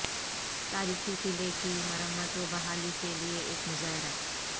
تاریخی قلعے کی مرمت و بحالی کے لیے ایک مظاہرہ